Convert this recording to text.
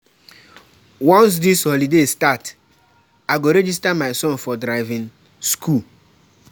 Once dis holiday start, I go register my son for driving skool.